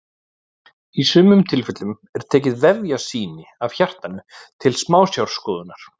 í sumum tilfellum er tekið vefjasýni af hjartanu til smásjárskoðunar